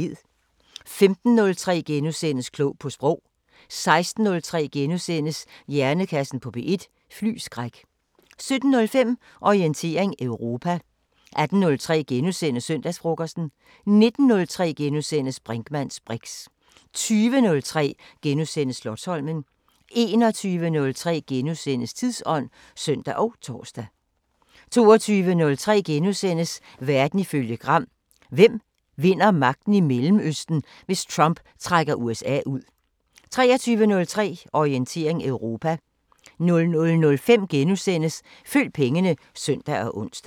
15:03: Klog på Sprog * 16:03: Hjernekassen på P1: Flyskræk * 17:05: Orientering Europa 18:03: Søndagsfrokosten * 19:03: Brinkmanns briks * 20:03: Slotsholmen * 21:03: Tidsånd *(søn og tor) 22:03: Verden ifølge Gram: Hvem vinder magten i Mellemøsten, hvis Trump trækker USA ud? * 23:03: Orientering Europa 00:05: Følg pengene *(søn og ons)